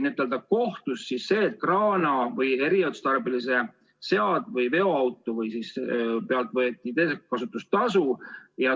Nimelt, kohtus vaidlustati, et kraana ja eriotstarbelise veoauto pealt võeti teekasutustasu.